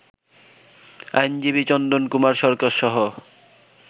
আইনজীবী চন্দন কুমার সরকারসহ